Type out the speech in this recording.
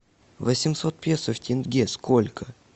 восемьсот песо в тенге сколько